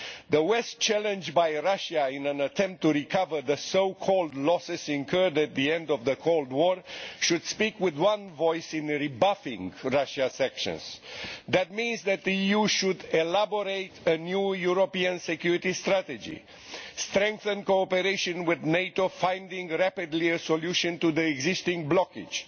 The West, challenged by Russia in an attempt to recover the so called losses incurred at the end of the Cold War, should speak with one voice in rebuffing Russia's actions. This means that the EU should elaborate a new European security strategy strengthen cooperation with NATO, rapidly finding a solution to the existing blockage